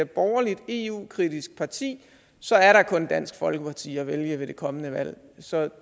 borgerligt eu kritisk parti så er der kun dansk folkeparti at vælge ved det kommende valg så